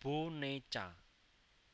boneca